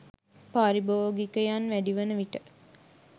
පාරිබෝගිකයන් වැඩිවන විට